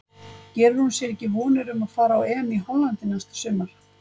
Gerir hún sér ekki vonir um að fara á EM í Hollandi næsta sumar?